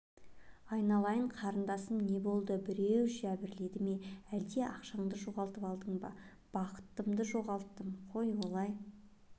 айналайын қарындасым не болды біреу жәбірледі ме әлде ақшаңды жоғалтып алдың ба бақытымды жоғалттым қой олай